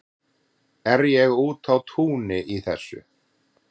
er ég úti á túni í þessu